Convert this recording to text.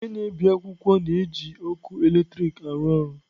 Ihe na-ebi akwụkwọ na-eji ọkụ eletrik arụ ọrụ.